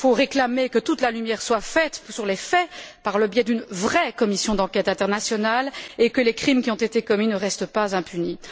Il faut réclamer que toute la lumière soit faite sur les faits, par le biais d'une vraie commission d'enquête internationale, et que les crimes qui ont été commis ne restent pas impunis.